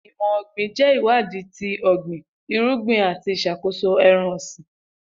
Imọ ogbin jẹ iwadi ti ogbin irugbin, ati iṣakoso ẹran-ọsin.